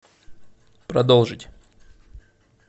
продолжить